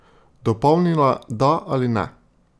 Dopolnila da ali ne?